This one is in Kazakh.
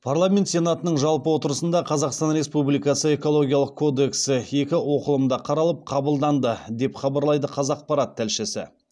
парламент сенатының жалпы отырысында қазақстан республикасы экологиялық кодексі екі оқылымда қаралып қабылданды деп хабарлайды қазақпарат тілшісі